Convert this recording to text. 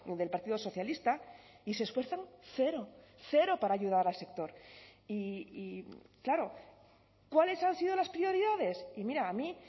del partido socialista y se esfuerzan cero cero para ayudar al sector y claro cuáles han sido las prioridades y mira a mí